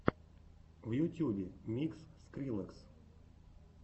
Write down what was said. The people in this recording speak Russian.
в ютьюбе микс скриллекс